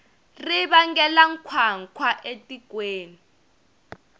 ri vangela nkhwankhwa etikweni